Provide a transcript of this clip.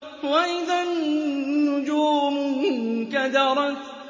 وَإِذَا النُّجُومُ انكَدَرَتْ